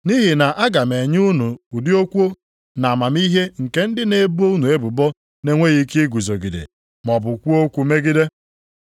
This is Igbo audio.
Nʼihi na aga m enye unu ụdị okwu na amamihe nke ndị na-ebo unu ebubo na-enweghị ike iguzogide maọbụ kwuo okwu megide.